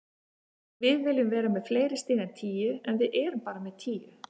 Við viljum vera með fleiri stig en tíu, en við erum bara með tíu.